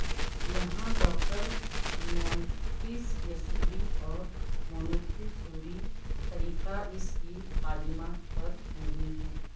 یہاں doctor Montessori اور Montessori طریقہ اس کی تعلیمات پر مبنی ہے